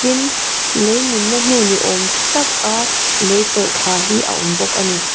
tin leimin na hnu ni awm taka lei tawlhthla hi a awm bawk ani.